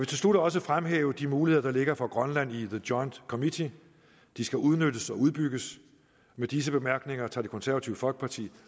til slut også fremhæve de muligheder der ligger for grønland i the joint committee de skal udnyttes og udbygges med disse bemærkninger tager det konservative folkeparti